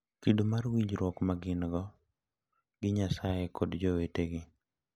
Kido mar winjruok ma gin-go gi Nyasaye kod jowetegi.